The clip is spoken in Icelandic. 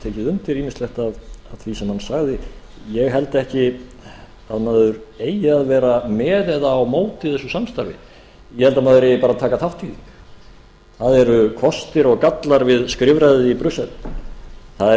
tekið undir ýmislegt af því sem hann sagði ég held ekki að maður eigi að vera með eða á móti þessu samstarfi ég held að maður eigi bara að taka þátt í því það eru kostir og gallar við skrifræðið í brussel það